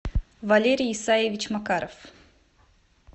валерий исаевич макаров